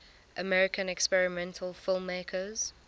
american experimental filmmakers